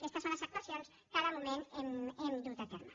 aquestes són les actuacions que de moment hem dut a terme